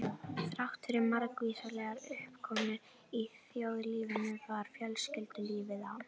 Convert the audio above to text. Þráttfyrir margvíslegar uppákomur í þjóðlífinu var fjölskyldulífið á